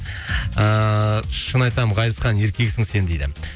ыыы шын айтамын ғазизхан еркексің сен дейді